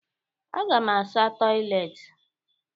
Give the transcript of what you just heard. Aga m asa toịletị.